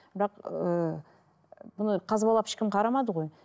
бірақ ыыы бұны қазбалап ешкім қарамады ғой